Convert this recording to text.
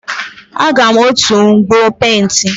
Aga m otu mkpọ penti.